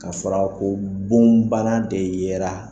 Ka sɔrɔ ka fɔ ko bon bana de yela.